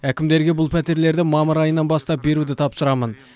әкімдерге бұл пәтерлерді мамыр айынан бастап беруді тапсырамын